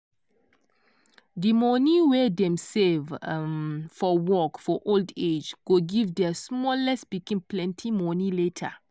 di money wey dem save um for work for old age go give their smallest pikin plenty money later.